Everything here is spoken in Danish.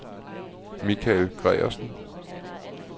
Mikael Gregersen